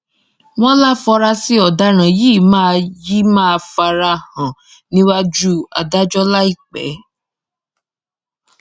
wọ́n láfunrasí ọ̀daràn yìí máa yìí máa fara hàn níwájú adájọ́ láìpẹ́